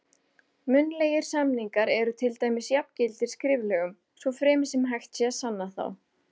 Munnlegir samningar eru til dæmis jafngildir skriflegum, svo fremi sem hægt sé að sanna þá.